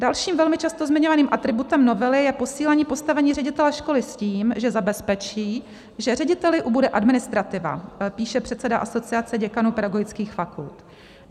- Dalším velmi často zmiňovaným atributem novely je posílení postavení ředitele školy s tím, že zabezpečí, že řediteli ubude administrativa, píše předseda Asociace děkanů pedagogických fakult.